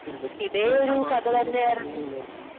അതെ. കുറേ തമാശകളും കാര്യങ്ങളുമുണ്ടായിരുന്നു.